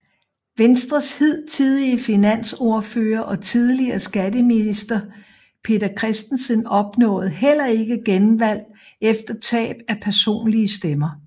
Venstres hidtidige finansordfører og tidligere skatteminister Peter Christensen opnåede heller ikke genvalg efter tab af personlige stemmer